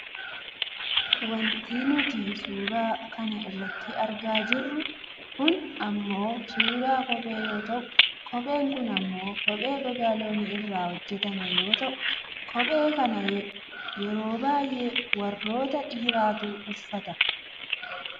wanti nuti suuraa kana irratti argaa jirru kun ammoo suuraa kophee yoo ta'u kopheen kun ammoo kophee gogaa loonii irraa hojjatame yoo ta'u kophee kana yeroo baayyee warroota dhiirotaatu uffata.